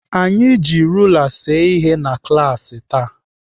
Anyị ji rula see ihe na klaasị taa.